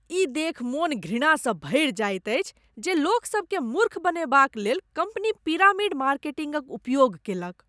ई देखि मन घृणासँ भरि जाइत अछि जे लोकसभकेँ मूर्ख बनेबाक लेल कम्पनी पिरामिड मार्केटिंगक उपयोग कैलक।